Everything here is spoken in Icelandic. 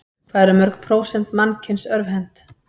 Hvað eru mörg prósent mannkyns örvhent?